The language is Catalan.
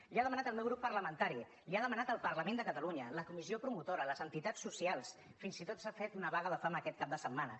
li ho ha demanat el meu grup parlamentari li ho ha demanat el parlament de catalunya la comissió promotora les entitats socials fins i tot s’ha fet una vaga de fam aquest cap de setmana